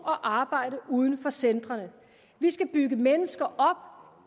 og arbejde uden for centrene vi skal bygge mennesker